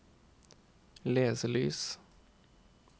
leselys